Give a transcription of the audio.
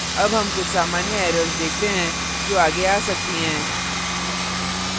अब हम कुछ सामान्य errors देखते हैं जो आगे आ सकती हैं